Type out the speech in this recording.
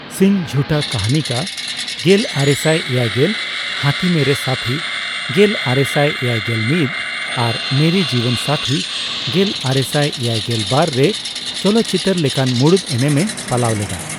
ᱥᱤᱝ ᱡᱷᱩᱴᱟ ᱠᱟᱹᱦᱱᱤ ᱠᱟ (ᱜᱮᱞᱟᱨᱮᱥᱟᱭ ᱮᱭᱟᱭᱜᱮᱞ ), ᱦᱟᱹᱛᱤ ᱢᱮᱨᱮ ᱥᱟᱛᱷᱤ ᱜᱮᱞᱟᱨᱮᱥᱟᱭ ᱮᱭᱟᱭᱜᱮᱞ ᱢᱤᱛ ) ᱟᱨ ᱢᱮᱨᱮ ᱡᱤᱵᱚᱱ ᱥᱟᱛᱷᱤ (ᱜᱮᱞᱟᱨᱮᱥᱟᱭ ᱮᱭᱟᱭᱜᱮᱞ ᱵᱟᱨ ) ᱨᱮ ᱪᱚᱞᱚᱛ ᱪᱤᱛᱟᱹᱨ ᱞᱮᱠᱟᱱ ᱢᱩᱬᱩᱫ ᱮᱱᱮᱢ ᱮ ᱯᱟᱞᱟᱣ ᱞᱮᱫᱟ ᱾